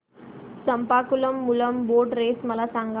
Champakulam Moolam boat race मला सांग